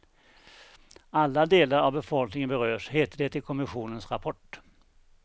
Alla delar av befolkningen berörs heter det i kommissionens rapport.